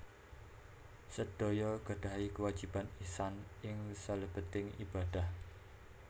Sedaya gadahi kéwajiban ihsan ing salèbéting ibadah